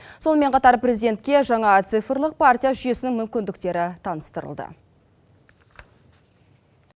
сонымен қатар президентке жаңа цифрлық партия жүйесінің мүмкіндіктері таныстырылды